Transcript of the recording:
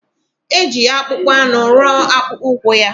Eji akpụkpọanụ rụọ akpụkpọụkwụ ya